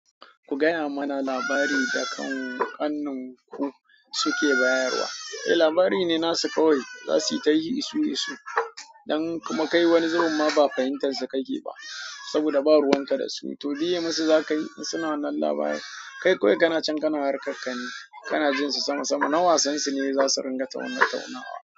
Ku gaya mana labari da kan kanin ku suke bayarwa. Eh labari ne nasu kawai. Zasu yi ta yi isusu dan kuma kai wani zubin ma ba fahimtar su kake ba saboda ba ruwan ka da su. To biye musu za ka yi in suna nan labarin. Kai kawai kana can kana harkar ka ne. Kana jin su sama sama. Na wasan su ne zasu ringa tauna taunawa.